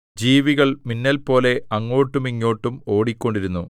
ജീവികൾ മിന്നൽപോലെ അങ്ങോട്ടും ഇങ്ങോട്ടും ഓടിക്കൊണ്ടിരുന്നു